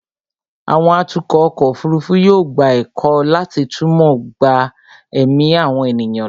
àwọn atukọ̀ ọkọ̀ òfurufú yóò gba ẹ̀kọ́ láti túmọ̀ gba ẹ̀mí àwọn ènìyàn là